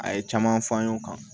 A ye caman fɔ an y'o kan